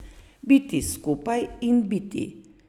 Biti skupaj in biti.